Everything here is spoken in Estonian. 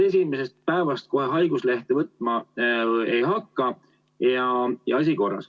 Peaminister käis haigena ju paar päeva isegi Riigikogu istungitel.